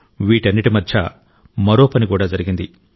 వీటన్నిటి మధ్య మరో పని కూడా జరిగింది